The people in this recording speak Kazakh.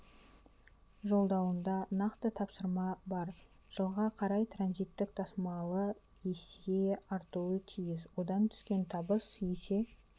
жолдауында нақты тапсырма бар жылға қарай транзиттік тасымал есе артуы тиіс одан түскен табыс есе